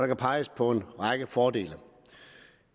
kan peges på en række fordele